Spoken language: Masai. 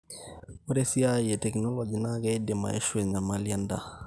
ore esiai e tekinologi naa keidim aishu enyamali endaa